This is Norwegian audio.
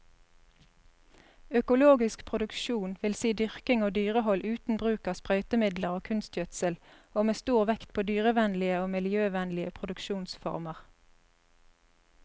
Økologisk produksjon vil si dyrking og dyrehold uten bruk av sprøytemidler og kunstgjødsel, og med stor vekt på dyrevennlige og miljøvennlige produksjonsformer.